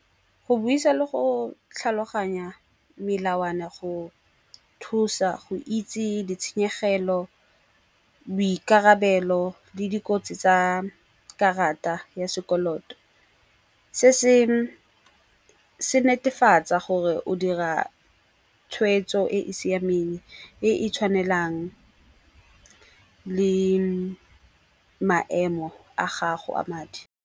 Go buisa le go tlhaloganya melawana go thusa go itse ditshenyegelo, boikarabelo le dikotsi tsa karata ya sekoloto. Se se netefatsa gore o dira tshweetso e e siameng, e e tshwanelang le maemo a gago a madi.